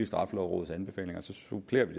straffelovrådets anbefalinger så supplerer vi